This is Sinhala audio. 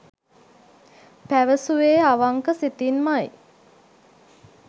පැවසුවේ අවංක සිතින්මයි.